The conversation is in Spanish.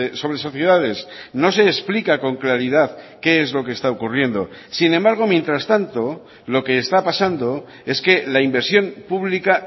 sobre sociedades no se explica con claridad qué es lo que está ocurriendo sin embargo mientras tanto lo que está pasando es que la inversión pública